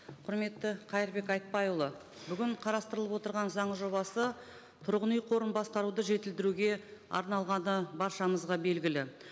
құрметті қайырбек айтбайұлы бүгін қарастырылып отырған заң жобасы тұрғын үй қорын басқаруды жетілдіруге арналғаны баршамызға белгілі